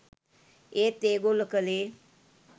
ඒත් ඒගොල්ල කලේ